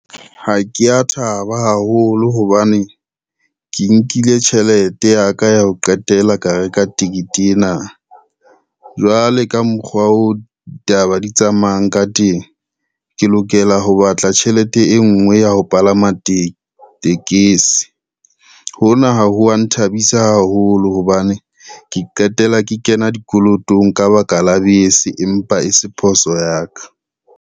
Ha kea thaba haholo hobane, ke nkile tjhelete ya ka ya ho qetela ka reka ticket ena. Jwale ka mokgwa oo ditaba di tsamayang ka teng, ke lokela ho batla tjhelete e ngwe ya ho palama tekesi. Hona ha ho wa nthabisa haholo hobane ke qetela ke kena dikolotong ka baka la bese, empa e se phoso ya ka.